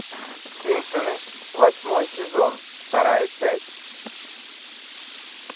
симпсоны восьмой сезон вторая часть